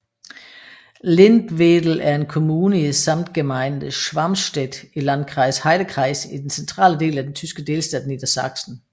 Lindwedel er en kommune i Samtgemeinde Schwarmstedt i Landkreis Heidekreis i den centrale del af den tyske delstat Niedersachsen